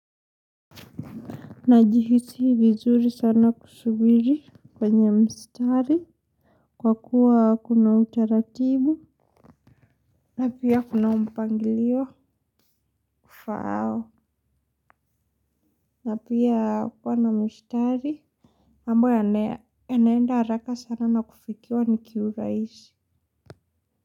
Najihisi vizuri sana kusubiri kwenye mstari kwa kuwa kuna utaratibu na pia kuna mpangilio ufaao, na pia kuwa na mstari ambao yanaenda haraka sana na kufikiwa ni kiurahisi.